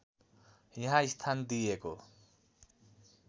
यहाँ स्थान दिएको